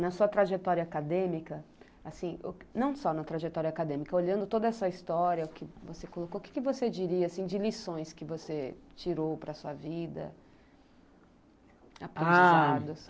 Na sua trajetória acadêmica, assim, não só na trajetória acadêmica, olhando toda essa história que você colocou, o que você diria de lições que você tirou para a sua vida, aprendizados?